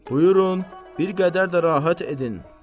Buyurun, bir qədər də rahat edin.